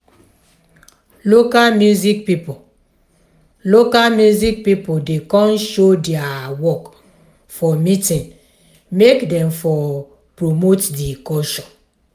local music pipo local music pipo dey come show dia work for meeting make dem for promote di culture.